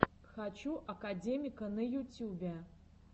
хочу академика на ютюбе